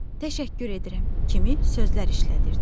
Təşəkkür edirəm, kimi sözlər işlədirdi.